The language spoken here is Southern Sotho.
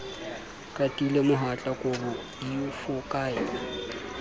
qatile mohatla kobo di fokaela